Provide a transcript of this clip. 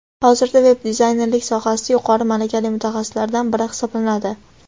hozirda veb-dizaynerlik sohasida yuqori malakali mutaxassislardan biri hisoblanadi.